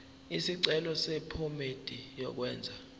isicelo sephomedi yokwenze